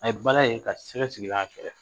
A ye bala ye ka sɛgɛ sigilen y'a fɛ